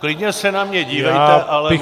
Klidně se na mě dívejte, ale mlčte.